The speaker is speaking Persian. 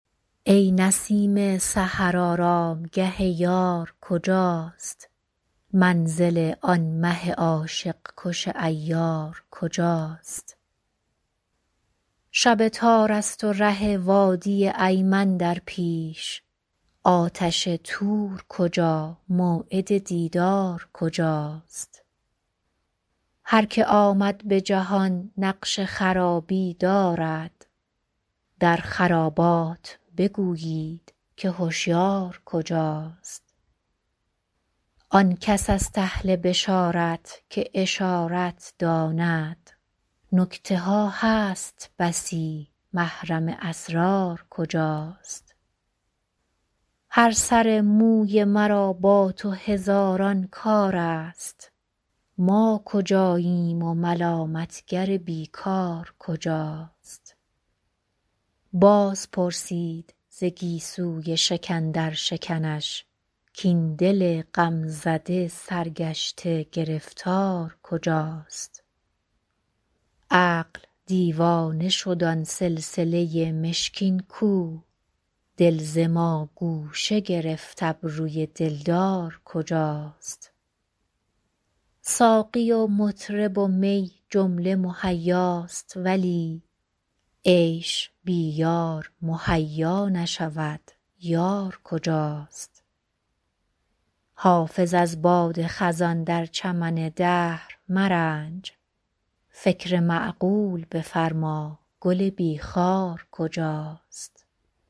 ای نسیم سحر آرامگه یار کجاست منزل آن مه عاشق کش عیار کجاست شب تار است و ره وادی ایمن در پیش آتش طور کجا موعد دیدار کجاست هر که آمد به جهان نقش خرابی دارد در خرابات بگویید که هشیار کجاست آن کس است اهل بشارت که اشارت داند نکته ها هست بسی محرم اسرار کجاست هر سر موی مرا با تو هزاران کار است ما کجاییم و ملامت گر بی کار کجاست باز پرسید ز گیسوی شکن در شکنش کاین دل غم زده سرگشته گرفتار کجاست عقل دیوانه شد آن سلسله مشکین کو دل ز ما گوشه گرفت ابروی دلدار کجاست ساقی و مطرب و می جمله مهیاست ولی عیش بی یار مهیا نشود یار کجاست حافظ از باد خزان در چمن دهر مرنج فکر معقول بفرما گل بی خار کجاست